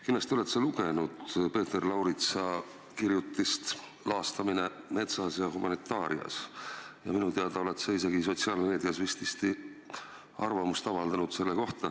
Kindlasti oled sa lugenud Peeter Lauritsa kirjutist "Laastamine metsas ja humanitaarias", minu teada oled sa sotsiaalmeedias isegi selle kohta arvamust avaldanud.